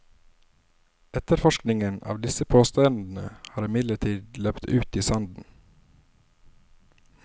Etterforskningen av disse påstandene har imidlertid løpt ut i sanden.